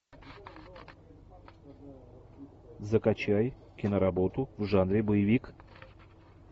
закачай киноработу в жанре боевик